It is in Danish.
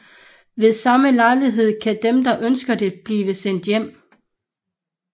Ved samme lejlighed kan dem der ønsker det blive sendt hjem